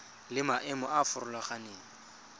le maemo a a farologaneng